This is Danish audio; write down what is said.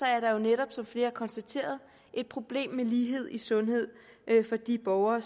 er der jo netop som flere har konstateret et problem med lighed i sundhed for de borgere